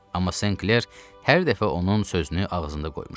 Amma Senkler hər dəfə onun sözünü ağzında qoymuşdu.